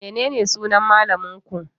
Menene sunan malamin ku?